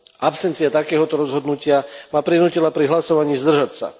Absencia takéhoto rozhodnutia ma prinútila pri hlasovaní zdržať sa.